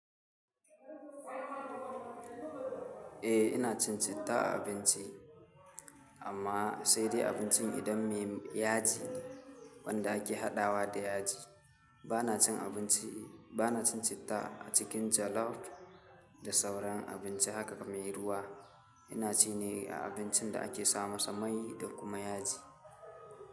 Eh ina cin cita a abinci amma sai dai abincin idan me ya ji, wanda ake haɗawa da yaji. Ba na cin abinci, ba na cin cita a cikin jollof da sauran abinci haka kamar ruwa. Ina ci ne a abincin da ake sama sa mai da kuma yaji.